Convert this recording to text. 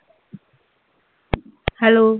hello